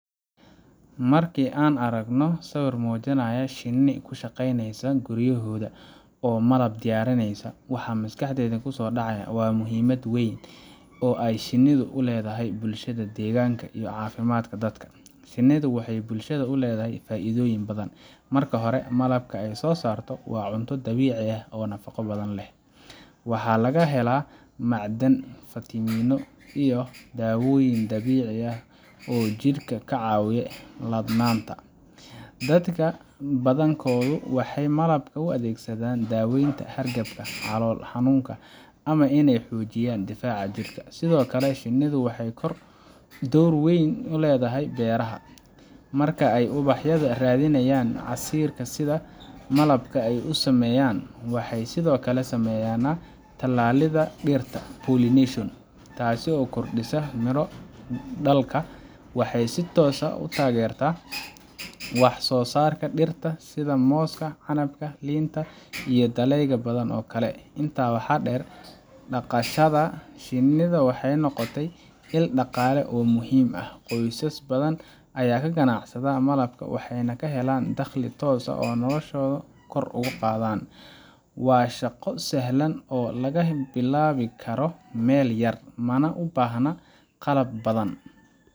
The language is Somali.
Marka aan aragno sawir muujinaya shinni ku shaqeyneysa guryahooda oo malab diyaarinaya, waxa maskaxdeena ku soo dhacaya muhiimad weyn oo ay shinnidu u leedahay bulshada, deegaanka, iyo caafimaadka dadka. Shinnidu waxay bulshada u leedahay faa’iidooyin badan. Marka hore, malabka ay soo saarto waa cunto dabiici ah oo nafaqo badan leh. Waxaa laga helaa macdan, fiitamiino, iyo dawooyin dabiici ah oo jidhka ka caawiya ladnaanta. Dadka badankoodu waxay malabka u adeegsadaan daweynta hargabka, calool xanuunka, ama iney xoojiyaan difaaca jirka. Sidoo kale, shinnidu waxay door weyn ku leedahay beeraha. Marka ay ubaxa ka raadinayaan casiirka si ay malab u sameeyaan, waxay sidoo kale sameeyaan tallaalidda dhirta pollination, taasoo kordhisa miro dhalka. Waxay si toos ah u taageeraan wax soo saarka dhirta sida mooska, canabka, liinta, iyo dalagyo badan oo kale. Intaa waxaa dheer, dhaqashada shinnida waxay noqotay il dhaqaale oo muhiim ah. Qoysas badan ayaa ka ganacsada malabka, waxayna ka helaan dakhli toos ah oo noloshooda kor u qaada. Waa shaqo sahlan oo laga bilaabi karo meel yar, mana u baahna qalab badan,